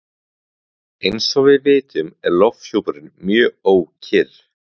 Eins og við vitum er lofthjúpurinn mjög ókyrr.